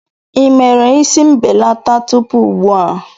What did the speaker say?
Ị mere isi mbelata tupu ugbu a?